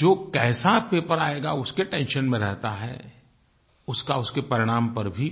जो कैसा पेपर आयेगा उसके टेंशन में रहता है उसका उसके परिणाम पर भी